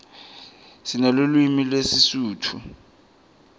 sinelulwimi lesisutfu